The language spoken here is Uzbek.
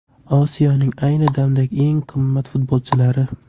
Osiyoning ayni damdagi eng qimmat futbolchilari.